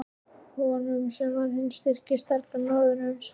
Honum, sem var hinn styrki stafkarl norðursins!